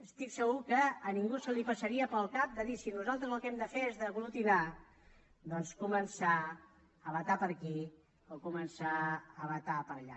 estic segur que a ningú li passaria pel cap dir si nosaltres el que hem de fer és aglutinar doncs començar a vetar per aquí o començar a vetar per allà